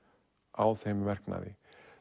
á þeim verknaði